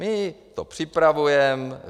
My to připravujeme.